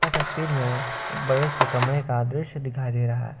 तस्वीर में एक बड़े से कमरे का दृश्य दिखाई दे रहा--